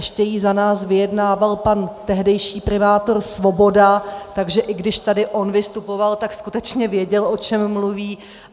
Ještě ji za nás vyjednával pan tehdejší primátor Svoboda, takže i když tady on vystupoval, tak skutečně věděl, o čem mluví.